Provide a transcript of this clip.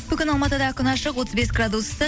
бүгін алматыда күн ашық отыз бес градус ыстық